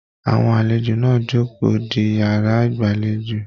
Àwọn àlejò náà jókòó di yàrá ìgbàlèjo.